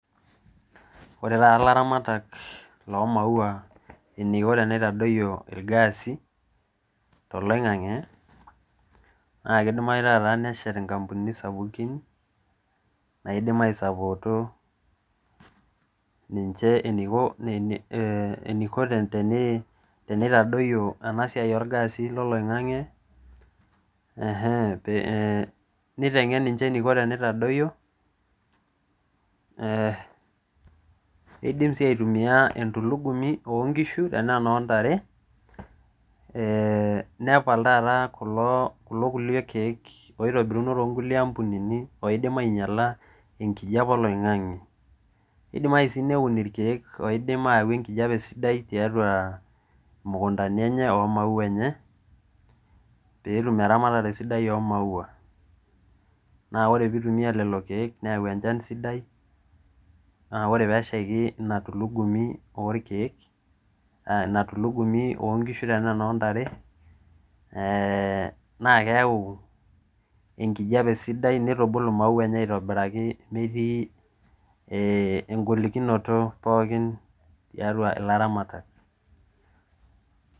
Ore taata ilaamatak lomaua eneiko teneitadoyio irgasi toloingange naa kidimayu taata neshet nkampunini sapukin naidim aisapoto ninche eniko tenitadoyio enasiai orgasi loloingange enhe nitenngen ninche eniko tenidayio ee nidimsii aitumia entulugumi onkishu enaa enoontare ee nepal taata kulo kiek oitobiruno toonkulie kampunini oidim ainyiala enkijape oloingange ,nidimayu sii neun irkiek oidim ayau enkijape sidai tiatua mukuntani enye omaua enye petum eramatare sidai omaua , naa ore pitumia lelo kiek neaku enkop sidai , naa ore peshaiki entulugumi orkiekk inatulugumi ontare tenaa enoonkishu ee naa keyau enkijape sidai nitubulu maua enye aitobiraki metii engolikinoto pookin tiatua ilaramatak .